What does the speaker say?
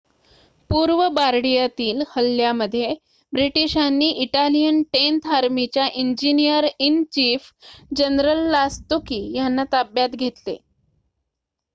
पूर्व बार्डीयातील हल्ल्यामध्ये ब्रिटिशांनी इटालियन टेन्थ आर्मीच्या इंजिनिअर-इन-चीफ जनरल लास्तुकी यांना ताब्यात घेतले